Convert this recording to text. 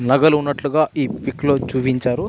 నగలు ఉన్నట్లుగా ఈ పిక్ లో చూపించారు.